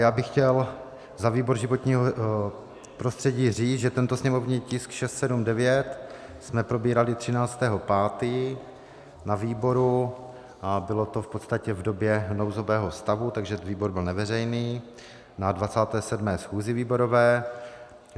Já bych chtěl za výbor životního prostředí říct, že tento sněmovní tisk 679 jsme probírali 13. 5. na výboru a bylo to v podstatě v době nouzového stavu, takže výbor byl neveřejný, na 27. schůzi výborové.